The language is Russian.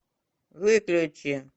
выключи